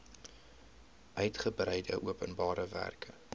uigebreide openbare werke